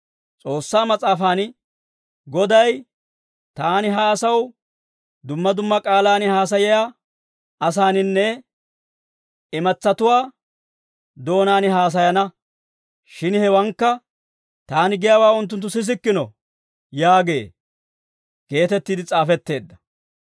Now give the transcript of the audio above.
S'oossaa Mas'aafan, «Goday, ‹Taani ha asaw, dumma dumma k'aalaan haasayiyaa asaaninne, imatsatuwaa doonaan haasayana. Shin hewankka, taani giyaawaa unttunttu sisikkino› yaagee» geetettiide s'aafetteedda.